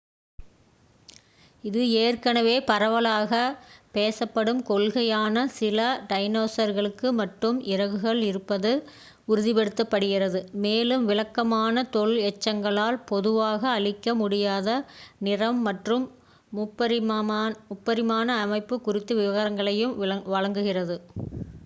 இது ஏற்கனவே பரவலாக பேசப்படும் கொள்கையான சில டைனோசர்களுக்கு மட்டும் இறகுகள் இருப்பதை உறுதிப்படுத்துகிறது மேலும் விளக்கமான தொல் எச்சங்களால் பொதுவாக அளிக்க முடியாத நிறம் மற்றும் முப்பரிமாண அமைப்பு குறித்த விவரங்களையும் வழங்குகிறது